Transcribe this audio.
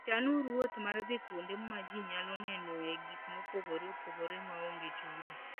Chanuru wuoth mar dhi kuonde ma ji nyalo nenoe gik mopogore opogore maonge chudo.